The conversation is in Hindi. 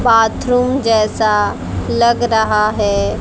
बाथरूम जैसा लग रहा है।